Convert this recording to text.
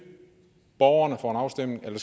borgerne for en afstemning